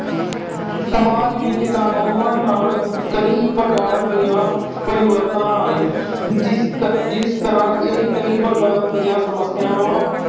ਸਮਾਜ ਵਿੱਚ ਕਾਨੂੰਨਾਂ ਨਾਲ ਕਈ ਪ੍ਰਕਾਰ ਦੇ ਪਰਿਵਰਤਨ ਆਏ। ਜਿਸ ਅਹ ਜਿਸ ਤਰ੍ਹਾਂ ਇਹ ਕਈ ਪ੍ਰਕਾਰ ਦੀਆਂ ਸਮੱਸਿਆਵਾਂ